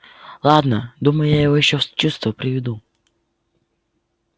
ладно думаю я его ещё в чувство приведу